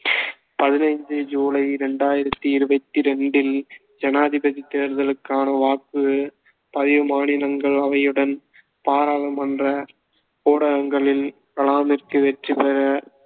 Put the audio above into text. பதினைந்து சூலை இரண்டாயிரத்தி இருவத்தி இரண்டில் ஜனாதிபதி தேர்தலுக்கான வாக்குப் பதிவு மாநிலங்கள் அவையுடன் பாராளுமன்ற ஊடகங்களின் கலாமிற்கு வெற்றி பெற